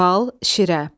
Bal, şirə.